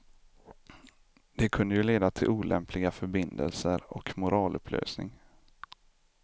Det kunde ju leda till olämpliga förbindelser och moralupplösning.